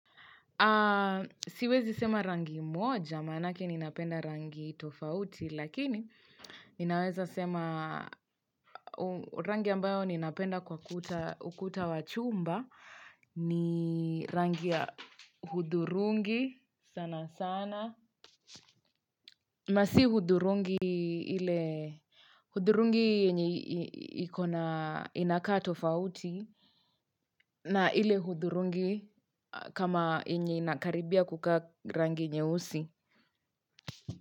Siwezi sema rangi moja maanake ninapenda rangi tofauti lakini ninaweza sema rangi ambayo ninapenda kwa ukuta wa chumba ni rangi ya hudhurungi sana sana na si hudhurungi kama yenye inakaribia kukaa rangi nyeusi.